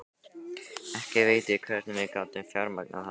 Ekki veit ég hvernig við gátum fjármagnað það.